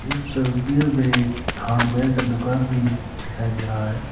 इस तस्वीर में एक हार्डवेयर का दुकान भी दिखाई दे रहा है।